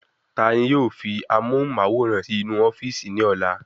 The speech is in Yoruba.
Tani yóò fi amóhùnmáwòrán si inú ofíìsì ní ọlá?